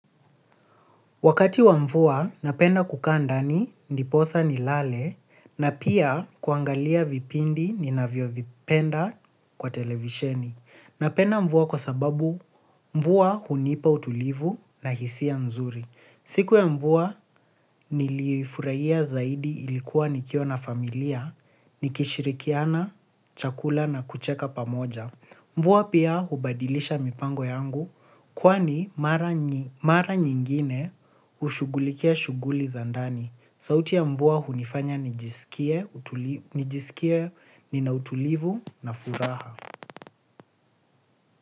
Wakati wa mvua napenda kukaa ndani ndiposa nilale na pia kuangalia vipindi ninavyovipenda kwa televisheni. Napenda mvua kwa sababu mvua hunipa utulivu na hisia nzuri. Siku ya mvua nilifurahia zaidi ilikuwa nikiwa na familia, nikishirikiana, chakula na kucheka pamoja. Mvua pia hubadilisha mipango yangu kwani mara nyingine hushughulikia shughuli za ndani. Sauti ya mvua hunifanya nijisikie nina utulivu na furaha.